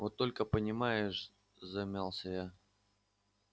вот только понимаешь замялась я